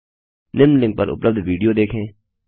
निम्न लिंक पर उपलब्ध विडियो देखें